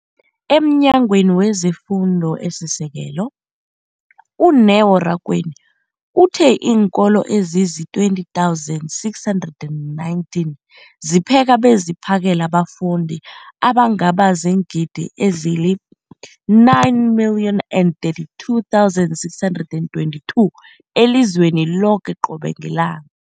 EmNyangweni wezeFundo esiSekelo, u-Neo Rakwena, uthe iinkolo ezizi-20 619 zipheka beziphakele abafundi abangaba ziingidi ezili-9 032 622 elizweni loke qobe ngelanga.